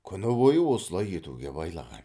күні бойы осылай етуге байлаған